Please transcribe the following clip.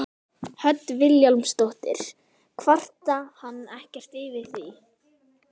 Hödd Vilhjálmsdóttir: Kvarta hann ekkert yfir því?